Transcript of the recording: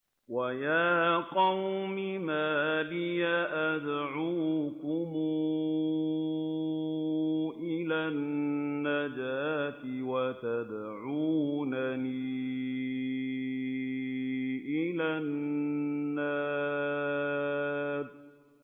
۞ وَيَا قَوْمِ مَا لِي أَدْعُوكُمْ إِلَى النَّجَاةِ وَتَدْعُونَنِي إِلَى النَّارِ